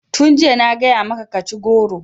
Tun jiya na gaya maka ka ci goro!